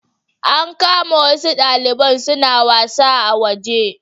An kama wasu daliban suna wasa a waje